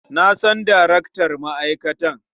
Na san darektan ma'aikatar.